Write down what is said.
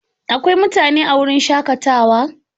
Akwai mutane a wurin shakatawa?